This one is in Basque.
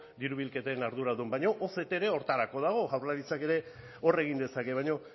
diru bilketen arduradun baino oct ere horretarako dago jaurlaritzak ere hor egin dezake baino